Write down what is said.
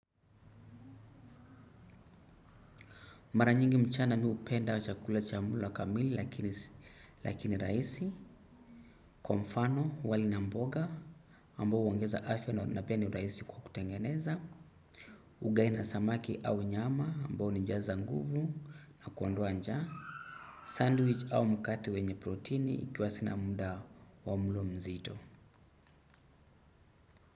Mara nyingi mchana mi hupenda chakula cha mula kamili lakini raisi. Kwa mfano wali na mboga ambao uongeza afya na pia ni raisi kwa kutengeneza. Ugali na samaki au nyama ambao unijaza nguvu na kuondoa njaa. Sandwich au mkate wenye proteini ikiwa sina munda wa mlo mzito.